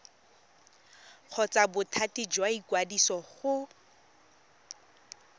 kgotsa bothati jwa ikwadiso go